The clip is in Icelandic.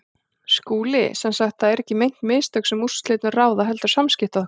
SKÚLI: Sem sagt: það eru ekki meint mistök, sem úrslitum ráða, heldur samskipti okkar?